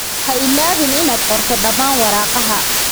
Ha iloobin inaad qorto dhammaan waraaqaha.